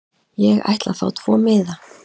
Ég ætla að fá tvo miða.